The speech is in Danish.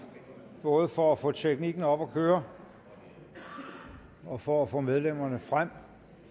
både for at få teknikken op at køre og for at få medlemmerne frem